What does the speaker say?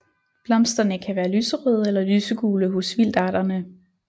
Blomsterne kan være lyserøde eller lysegule hos vildarterne